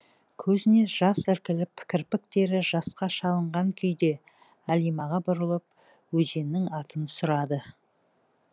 көзіне жас іркіліп кірпіктері жасқа шыланған күйде әлимаға бұрылып өзеннің атын сұрады